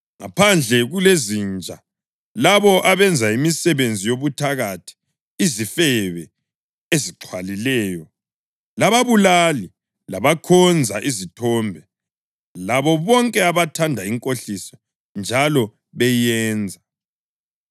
Ngaphandle kulezinja, labo abenza imisebenzi yobuthakathi, izifebe ezixhwalileyo, lababulali, labakhonza izithombe labo bonke abathanda inkohliso njalo beyenza.